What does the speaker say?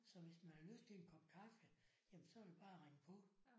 Så hvis man har lyst til en kop kaffe jamen så er det bare at ringe på